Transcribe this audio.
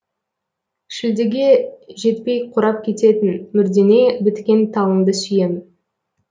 шілдеге жетпей қурап кететін мүрдеңе біткен талыңды сүйем